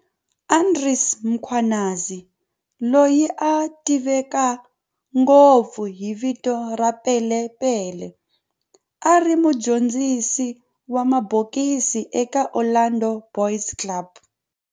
Andries Mkhwanazi, loyi a tiveka ngopfu hi vito ra"Pele Pele", a ri mudyondzisi wa mabokisi eka Orlando Boys Club